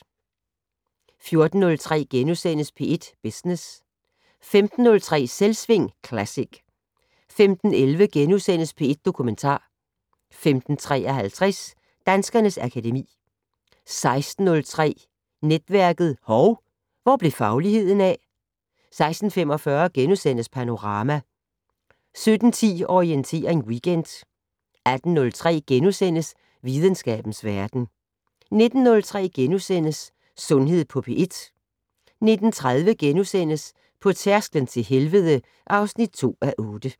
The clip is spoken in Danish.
14:03: P1 Business * 15:03: Selvsving Classic 15:11: P1 Dokumentar * 15:53: Danskernes akademi 16:03: Netværket: Hov, hvor blev fagligheden af? 16:45: Panorama * 17:10: Orientering Weekend 18:03: Videnskabens Verden * 19:03: Sundhed på P1 * 19:30: På tærsklen til helvede (2:8)*